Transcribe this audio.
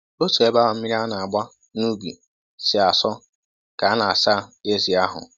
Otu ebe ahụ mmiri a na-agba n'ubi si asọ ka a na-asa ezi ahụ